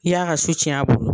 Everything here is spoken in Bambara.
I y'a ka su cɛn a bolo.